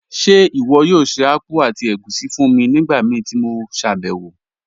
Ṣe iwọ yoo ṣe akpụ̀ àti ègúṣí fún mi nigbamíí ti mo ṣabẹwo?